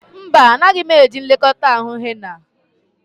Mba, anaghị m eji nlekọta ahụ henna.